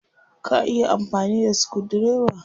Ka iya amfani da sukudireba?